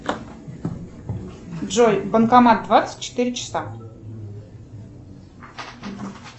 джой банкомат двадцать четыре часа